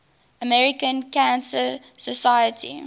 american cancer society